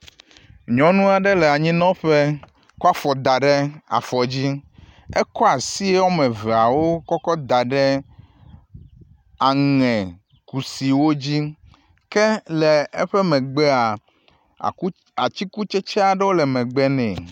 Nyɔnu aɖe le anyinɔƒe kɔ afɔ da ɖe afɔ dzi. ekɔ asi wɔme eveawo kɔkɔ da ɖe aŋekusiwo dzi ke le eƒe megbea aku atsikutsetse aɖewo le megbe nɛ.